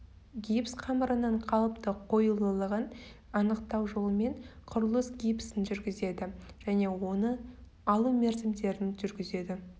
гипс қамырының қалыпты қоюлылығын анықтау жолымен құрылыс гипсін жүргізеді және де оны алу мерзімдерін жүргізеді